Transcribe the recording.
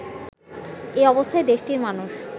এ অবস্থায় দেশটির মানুষ